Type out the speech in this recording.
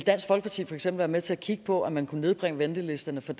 være med til at kigge på om man kunne nedbringe ventelisterne for